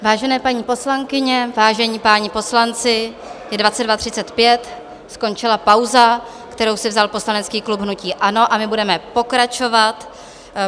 Vážené paní poslankyně, vážení páni poslanci, je 22.35, skončila pauza, kterou si vzal poslanecký klub hnutí ANO, a my budeme pokračovat.